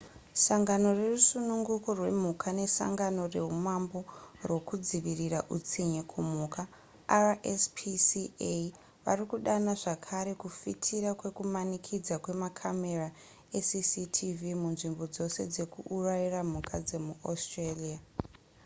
sangano rerusungunuko rwemhuka ne sangano rehumambo rwokudzivirira utsinye kumhuka rspca varikudana zvakare kufitira kwekumanikidza kwe makamera ecctv munzvimbo dzose dzekuurayira mhuka dzemuaustralia